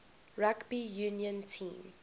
rugby union team